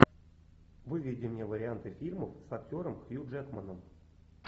выведи мне варианты фильмов с актером хью джекманом